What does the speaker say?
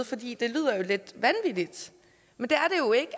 fordi det lyder lidt vanvittigt men det